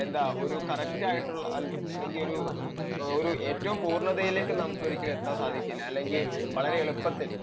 എന്താ ഒരു കറക്ട് ആയിട്ടുള്ളൊരു അല്ലെങ്കിൽ ഒരു ഏറ്റവും പൂർണതയിലേക്ക് നമുക്ക് എത്താൻ ഒരിക്കലും സാധിക്കില്ല